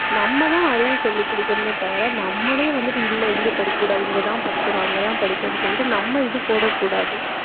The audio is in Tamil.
நம்மதான் அறிவு சொல்லிக் கொடுக்கணுமே தவிர நம்மளே வந்துட்டு இல்லை இங்க படிக்கக்கூடாது. இங்கதான் படிக்கணும் அங்கதான் படிக்கணும்னு சொல்லிட்டு நம்ம இது போடக்கூடாது.